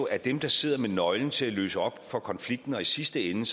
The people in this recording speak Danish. at dem der sidder med nøglen til at løse op for konflikten og i sidste ende